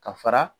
Ka fara